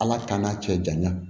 Ala k'an na cɛ janya